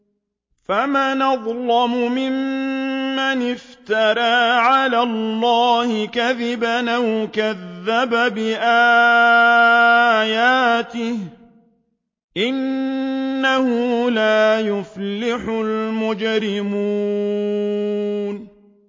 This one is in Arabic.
فَمَنْ أَظْلَمُ مِمَّنِ افْتَرَىٰ عَلَى اللَّهِ كَذِبًا أَوْ كَذَّبَ بِآيَاتِهِ ۚ إِنَّهُ لَا يُفْلِحُ الْمُجْرِمُونَ